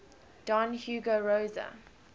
don hugo rosa